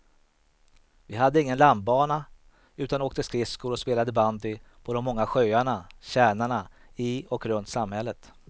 Vi hade ingen landbana utan åkte skridskor och spelade bandy på de många sjöarna, tjärnarna i och runt samhället.